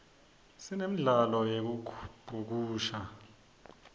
sinemdlalo yekubhukusha